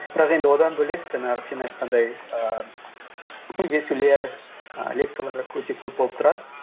бірақ енді одан бөлек жаңағы сен айтқандай ііі кездесулер і лекциялар өте көп болып тұрады